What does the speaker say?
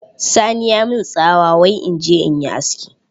Sani ya min tsawa wai in je in yi aski!